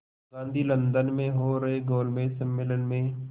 Gandhi London में हो रहे गोलमेज़ सम्मेलन में